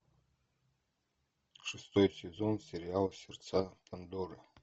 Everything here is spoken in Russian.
шестой сезон сериал сердца пандоры